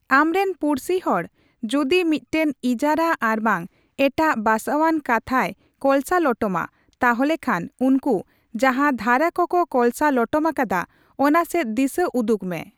ᱟᱢᱨᱮᱱ ᱯᱩᱲᱥᱤᱦᱚᱲ ᱡᱩᱫᱤ ᱢᱤᱫᱴᱟᱝ ᱤᱡᱟᱨᱟ ᱟᱨᱵᱟᱝ ᱮᱴᱟᱜ ᱵᱟᱥᱟᱣᱟᱱ ᱠᱟᱛᱷᱟᱭ ᱠᱚᱞᱥᱟ ᱞᱚᱴᱚᱢᱟ, ᱛᱟᱦᱚᱞᱮᱷᱟᱱ ᱩᱱᱠᱩ ᱡᱟᱦᱟᱸ ᱫᱷᱟᱨᱟ ᱠᱚᱠᱚ ᱠᱚᱞᱥᱟ ᱞᱚᱴᱚᱢ ᱟᱠᱟᱫᱟ ᱚᱱᱟᱥᱮᱫ ᱫᱤᱥᱟᱹ ᱩᱫᱩᱜᱽᱢᱮ ᱾